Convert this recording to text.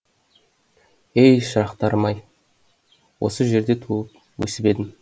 ей шырақтарым ай осы жерде туып өсіп едім